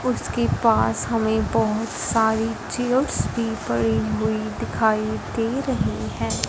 उसके पास हमें बहुत सारी चेयर्स भी पड़ी हुई दिखाई दे रही हैं।